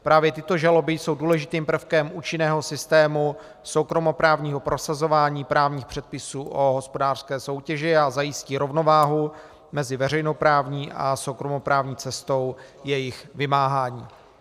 Právě tyto žaloby jsou důležitým prvkem účinného systému soukromoprávního prosazování právních předpisů o hospodářské soutěži a zajistí rovnováhu mezi veřejnoprávní a soukromoprávní cestou jejich vymáhání.